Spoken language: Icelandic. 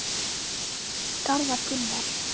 Hvað segir Garðar Gunnar?